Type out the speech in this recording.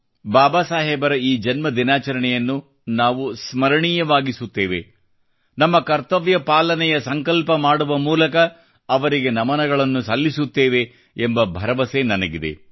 ಬಾಬಾ ಸಾಹೇಬರ ಈ ಜನ್ಮ ದಿನಾಚರಣೆಯನ್ನು ನಾವು ಸ್ಮರಣೀಯವಾಗಿಸುತ್ತೇವೆ ನಮ್ಮ ಕರ್ತವ್ಯ ಪಾಲನೆಯ ಸಂಕಲ್ಪ ಮಾಡುವ ಮೂಲಕ ಅವರಿಗೆ ನಮನಗಳನ್ನು ಸಲ್ಲಿಸುತ್ತೇವೆ ಎಂಬ ಭರವಸೆ ನನಗಿದೆ